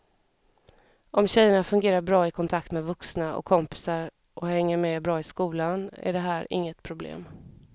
Om tjejerna fungerar bra i kontakt med vuxna och kompisar och hänger med bra i skolan är det här inget problem.